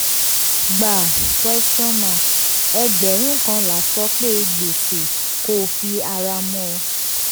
gbà question mark ẹgbẹ̀rún kan làsọpé gbèsè kó o fi ara mọ́ ọ.